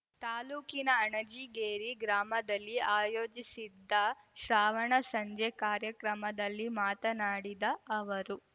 ತಾಲೂಕಿನ ಅಣಜಿಗೇರಿ ಗ್ರಾಮದಲ್ಲಿ ಆಯೋಜಿಸಿದ್ದ ಶ್ರಾವಣ ಸಂಜೆ ಕಾರ್ಯಕ್ರಮದಲ್ಲಿ ಮಾತನಾಡಿದ ಅವರು